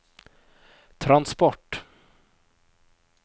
transport